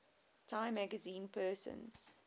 time magazine persons